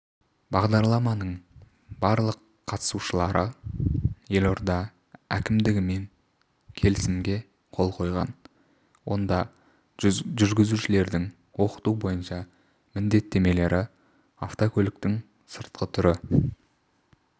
бағдарламаның барлық қатысушылары елорда әкімдігімен келісімге қол қойған онда жүргізушілерді оқыту бойынша міндеттемелер автокөліктің сыртқы түрі